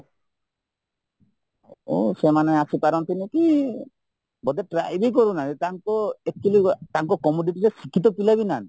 ତେଣୁ ସେମାନେ ଆସିପାରନ୍ତିନି କି ବୋଧେ try ବି କରୁନାହାନ୍ତି ତାଙ୍କୁ actually ତାଙ୍କୁ commodity ଶିକ୍ଷିତ ପିଲା ବି ନାହାନ୍ତି